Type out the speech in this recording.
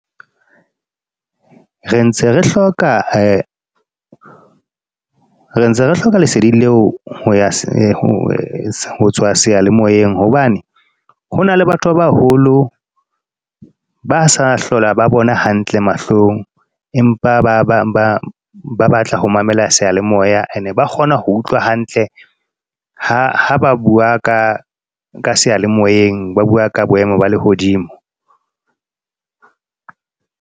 Re ntse re hloka , re ntse hloka lesedi leo. Ho tswa seyalemoyeng. Hobane, ho na le batho ba baholo ba sa hlola ba bona hantle mahlong. Empa ba ba batla ho mamela seyalemoya. E ne ba kgona ho utlwa hantle, ha ba bua ka ka seyalemoeng. Ba bua ka boemo ba lehodimo.